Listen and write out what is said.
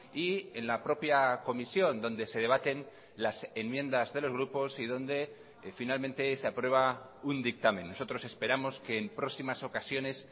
y en la propia comisión donde se debaten las enmiendas de los grupos y donde finalmente se aprueba un dictamen nosotros esperamos que en próximas ocasiones